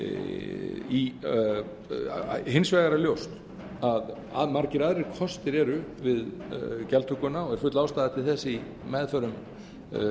á hins vegar er ljóst að margir aðrir kostir eru við gjaldtökuna og er full ástæða til þess í meðförum